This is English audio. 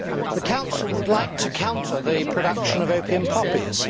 The Council would like to counter the production of opium poppies.